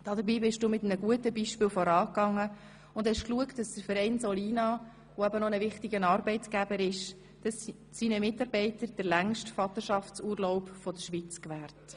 Dabei bist du mit einem guten Beispiel vorangegangen und hast dafür gesorgt, dass der Verein Solina, der ein wichtiger Arbeitgeber ist, seinen Mitarbeitern den längsten Vaterschaftsurlaub der Schweiz gewährt.